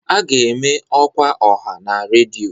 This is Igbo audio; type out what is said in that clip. A ga-eme ọkwa ọha na redio